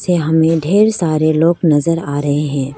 यहां में ढ़ेर सारे लोग नजर आ रहे हैं।